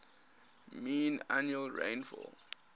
mean annual rainfall